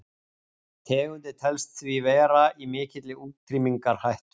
Tegundin telst því vera í mikilli útrýmingarhættu.